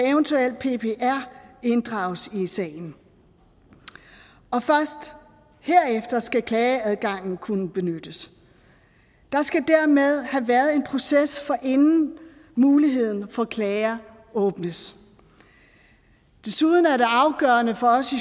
eventuelt inddrages i sagen og først herefter skal klageadgangen kunne benyttes der skal dermed have været en proces inden muligheden for klager åbnes desuden er det afgørende for os